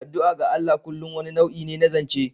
Addu'a ga Allah kullum wani nau'i ne na zance.